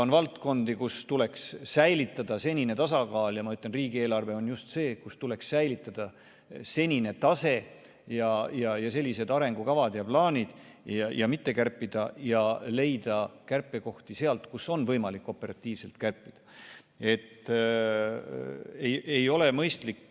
On valdkondi, kus tuleks säilitada senine tasakaal, ja ma ütlen, et riigieelarve on just see, kus tuleks säilitada senine tase ja senised arengukavad ja plaanid ning mitte kärpida, vaid leida kärpekohti sealt, kus on võimalik operatiivselt kärpida.